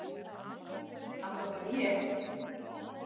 Alla vega ég.